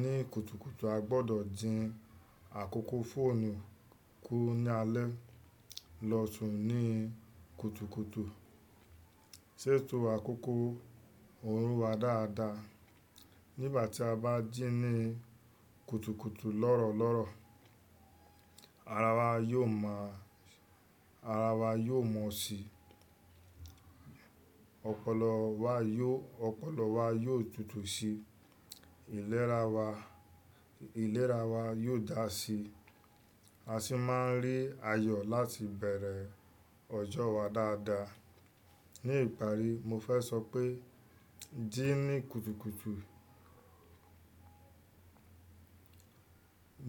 ní kùtùkùtù a gbọdọ̀ dín àkókò fóònù kú ní alẹ́ lọ sùn ní kùtùkùtù, ṣètò àkókò òru wa dáadáa. Nígbà tí a bá jí ní kùtùkùtù lọ́rọ̀ lọ́rọ̀, ara wa yóò mọ̀, ara wa yóò mọ́ síi. Ọ̀pọ̀lọ́ wa yóò, ọ̀pọ̀lọ́ wa yóò tutù síi, ìlera wa, ìlera wa yóò dá síi. A sì máa ń rí ayọ̀ láti bẹ̀rẹ̀ ọjọ́ wa dáadáa. Ni ìparí mo fẹ́ sọ pé jí ní kùtùkùtù,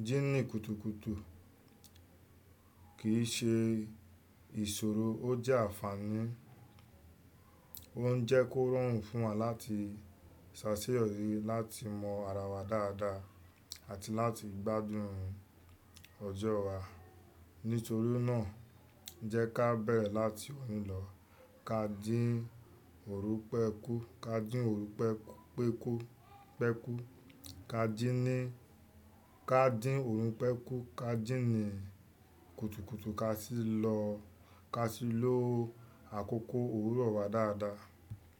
jí ní kùtùkùtù kì í ṣe ìṣòro, ó jẹ́ ànfàní. Ó ń jẹ́ kó rọrùn fún wa láti ṣàṣeyọrí, láti mọ ara wa dáadáa àti láti gbádùn ọjọ́ wa. Nítorí náà jẹ́ ká bẹ̀rẹ̀ láti òní lọ, ká dín òrùn pẹ́ kú, ká dín òrùpẹ́ pé kú, pẹ́ kú. Ká dín ní, ká dín òrùn pẹ́ kú, ká jí ní kùtùkùtù ká sì lọ, ká sì lò àkókò òwúrọ̀ wa dáadáa.